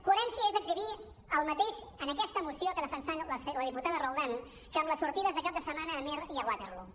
coherència és exhibir el mateix en aquesta moció que ha defensat la diputada roldán que en les sortides de cap de setmana a amer i a waterloo